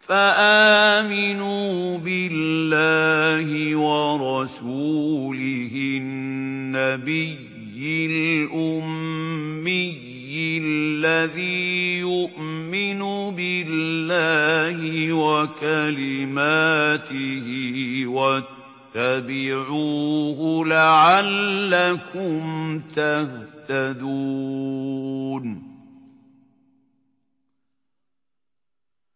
فَآمِنُوا بِاللَّهِ وَرَسُولِهِ النَّبِيِّ الْأُمِّيِّ الَّذِي يُؤْمِنُ بِاللَّهِ وَكَلِمَاتِهِ وَاتَّبِعُوهُ لَعَلَّكُمْ تَهْتَدُونَ